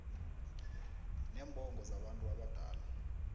neembongo zabantu abadala